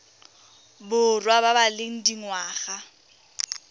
borwa ba ba leng dingwaga